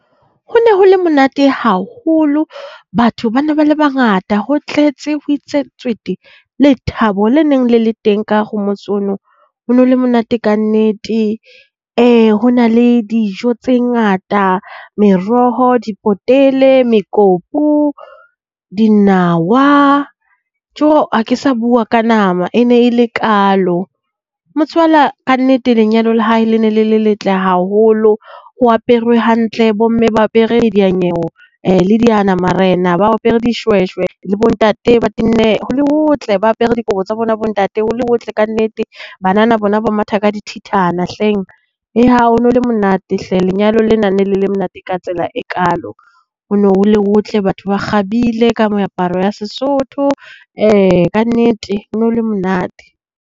Ho ne ho le monate haholo batho ba ne ba le bangata, ho tletse ho itse tswete. Lethabo le neng le teng ka hare ho motse ono. Ho no le monate kannete. Ho na le dijo tse ngata, meroho, dipotele, mekopu, dinawa. Joo ha ke sa bua ka nama e ne e le kaalo. Motswala kannete lenyalo la hae le ne le le letle haholo ho aperwe hantle. Bo mme ba apere di dia-nyewe le diana-marena ba apere dishweshwe le bo ntate ba tenne, ho le hotle ba apere dikobo tsa bona bo ntate, ho le hotle kannete. Banana bona ba matha ka dithethana hleng. Ho no le monate hle lenyalo lena ne le le monate ka tsela e kaalo. Ho ne ho le hotle. Batho ba kgabile ka meaparo ya Sesotho. Kannete ho no le monate.